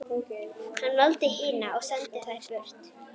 Hann valdi hina og sendi þær burt.